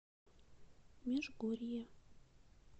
межгорье